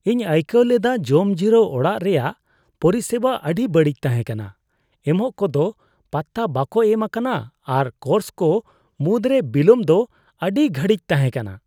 ᱤᱧ ᱟᱹᱭᱠᱟᱹᱣ ᱞᱮᱫᱟ ᱡᱚᱢ ᱡᱤᱨᱟᱹᱣ ᱚᱲᱟᱜ ᱨᱮᱭᱟᱜ ᱯᱚᱨᱤᱥᱮᱵᱟ ᱟᱹᱰᱤ ᱵᱟᱹᱲᱤᱡ ᱛᱟᱦᱮᱸ ᱠᱟᱱᱟ ᱾ ᱮᱢᱚᱜ ᱠᱚᱫᱚ ᱯᱟᱛᱛᱟ ᱵᱟᱠᱚ ᱮᱢ ᱟᱠᱟᱱᱟ ᱟᱨ ᱠᱳᱨᱥ ᱠᱚ ᱢᱩᱫᱽᱨᱮ ᱵᱤᱞᱚᱢ ᱫᱚ ᱟᱹᱰᱤ ᱜᱷᱟᱹᱲᱤᱡ ᱛᱟᱦᱮᱸ ᱠᱟᱱᱟ ᱾